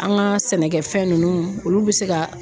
An ka sɛnɛkɛfɛn nunnu olu bɛ se ka